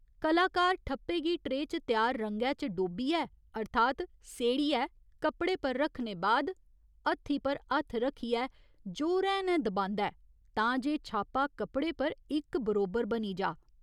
कलाकार ठप्पे गी ट्रेऽ च त्यार रंगै च डोब्बियै अर्थात् सेड़ियै कपड़े पर रक्खने बाद हत्थी पर हत्थ रक्खियै जोरैं नै दबांदा ऐ तां जे छापा कपड़े पर इक बरोबर बनी जाऽ।